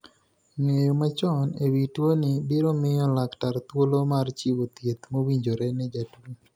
Nge'yo machon e wi tuoni biro miyo laktar thuolo mar chiwo thieth mowinjore ne jatuo.